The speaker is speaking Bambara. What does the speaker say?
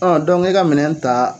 Ɔ e ka minɛn ta.